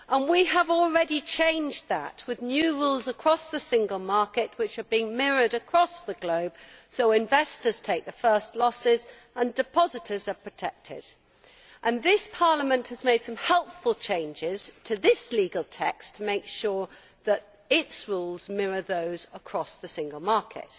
We have already changed that with new rules across the single market, which are being mirrored across the globe, so investors take the first losses and depositors are protected. This Parliament has made some helpful changes to this legal text to make sure that its rules mirror those across the single market,